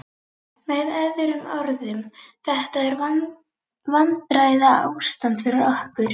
Með öðrum orðum: þetta er vandræðaástand fyrir okkur.